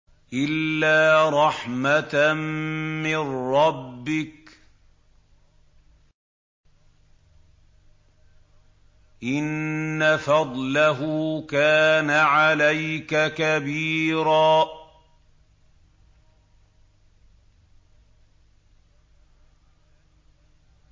إِلَّا رَحْمَةً مِّن رَّبِّكَ ۚ إِنَّ فَضْلَهُ كَانَ عَلَيْكَ كَبِيرًا